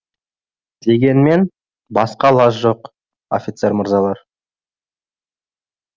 дегенмен басқа лаж жоқ офицер мырзалар